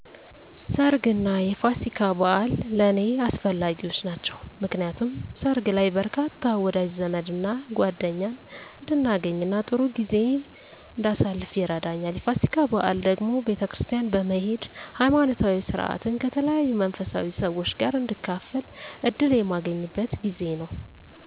ሰርግ እና የፋሲካ በኣል ለኔ አስፈላጊዎች ናቸው። ምክንያቱም ሰርግ ላይ በርካታ ወዳጅ ዘመድና ጓደኛን እንዳገኝና ጥሩ ጊዜ እንዳሳልፍ ይረዳኛል። የፋሲካ በዓል ደግሞ ቤተክርስቲያን በመሄድ ሀይማኖታዊ ስርዓትን ከተለያዩ መንፈሳዊ ሰዎች ጋር እንድካፈል እድል የማገኝበት ጊዜ ነው።